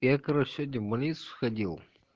и я короче сегодня в больницу сходил